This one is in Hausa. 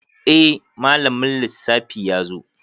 Eh malamin lissafi yazo